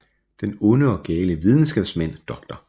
Den onde og gale videnskabsmand Dr